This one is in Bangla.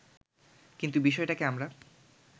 কিন্তু বিষয়টাকে আমরা